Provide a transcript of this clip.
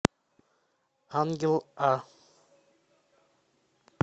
ангел а